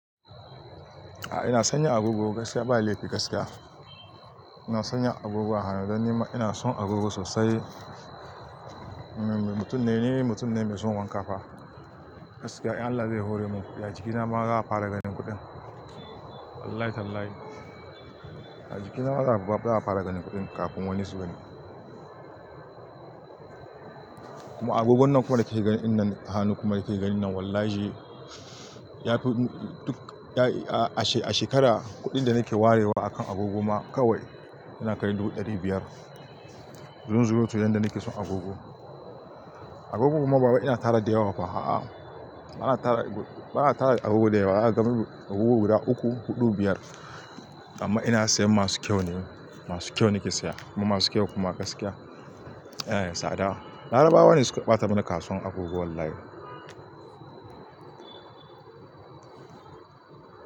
A'a ina sanya agogo gaskiya ba laifi gaskiya. Ina sanya agogo a hannu dan ni ma ina son agogo sosai. Mutum na ne mutum na mai son wanka fa. Gaskiya Allah zai hore mu. Ya jiki na ma za a fara ganin kuɗin. Wallahi tallahi. A jiki na ma za a fara ganin kuɗin kafin wani sugan ni. Kuma agogon nan kuma da kake ganin nan hannu kuma da kake ganin nan wallahi a shekara kuɗin da nake warewa a kan agogo ma kawai yana karai dubu ɗari biyar. Zunzurutun yan da nake son agogo. Agogo kuma baba ina tara da yawa fa a'a. Bana tara da agogo da yawa. Na gama agogo guda uku huɗu biyar amma ina sayan masu kyau ne. Masu kyau nake saya kuma masu kyau kuma gaskiya. Eh tsada. Larabawa ne suka ɓata mani kasuwar agogo wallahi.